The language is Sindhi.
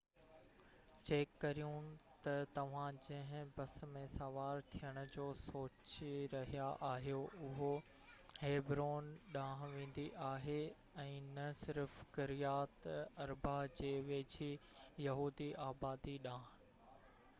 چيڪ ڪريو ته توهان جنهن بس ۾ سوار ٿيڻ جو سوچي رهيا آهيو اهو هيبرون ڏانهن ويندي آهي ۽ نه صرف ڪريات اربه جي ويجهي يهودي آبادي ڏانهن